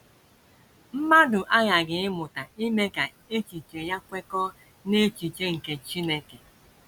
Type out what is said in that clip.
Mmadụ aghaghị ịmụta ime ka echiche ya kwekọọ n’echiche nke Chineke.